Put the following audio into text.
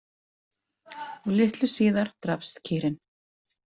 Og litlu síðar drapst kýrin.